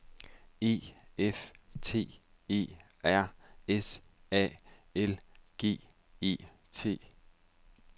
E F T E R S A L G E T